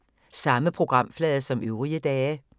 Samme programflade som øvrige dage